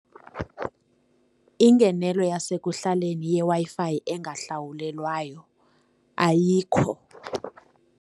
Ingenelo yasekuhlaleni yeWi-Fi engahlawulelwayo ayikho.